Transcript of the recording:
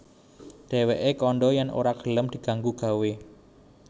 Dhèwèké kandha yèn ora gelem diganggu gawé